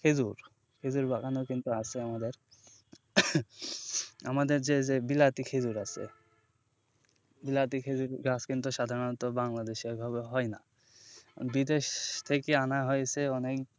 খেঁজুর খেঁজুর বাগানও কিন্তু আছে আমাদের, আমাদের যে যে বিলাতি খেঁজুর আছে বিলাতি খেঁজুরের চাষ কিন্তু সাধরণত বাংলাদেশে ওই ভাবে হয়না বিদেশ থেকে আনা হয়েছে অনেক,